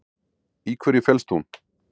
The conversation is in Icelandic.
Í hverju felst hún?